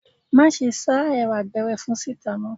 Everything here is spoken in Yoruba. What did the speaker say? Má ṣe ṣáá Ẹ̀wà gberefun síta mọ́!